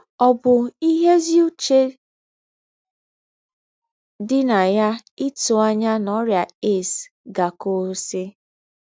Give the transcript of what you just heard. Ọ̀ bú íhé èzí úché dí nà yá ítù ànyá nà órị́à AIDS gà-àkụ́wùsì?